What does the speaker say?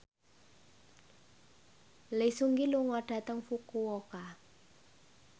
Lee Seung Gi lunga dhateng Fukuoka